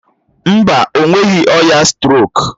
Mba, o nweghị ọrịa strok.